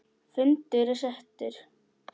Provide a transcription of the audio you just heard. Fundur er settur!